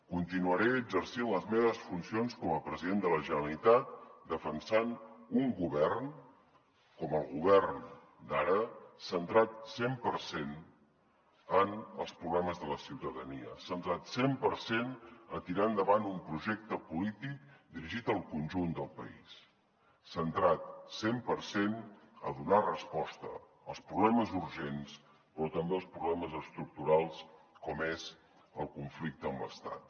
continuaré exercint les meves funcions com a president de la generalitat defensant un govern com el govern d’ara centrat cent per cent en els problemes de la ciutadania centrat cent per cent a tirar endavant un projecte polític dirigit al conjunt del país centrat cent per cent a donar resposta als problemes urgents però també als problemes estructurals com és el conflicte amb l’estat